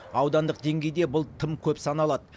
аудандық деңгейде бұл тым көп саналады